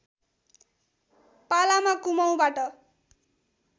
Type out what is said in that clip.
पालामा कुमाउँबाट